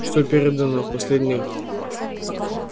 что передано в последних